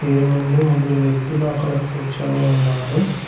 వీరు ముందు ముగ్గురు వ్యక్తులు అక్కడ కూర్చొని ఉన్నారు.